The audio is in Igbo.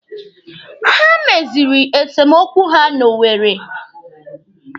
Ha meziri esemokwu ha na Owere.